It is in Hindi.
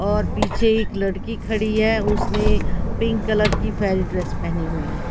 और पीछे एक लड़की खड़ी है उसने पिंक कलर की ड्रेस पहनी हुई है।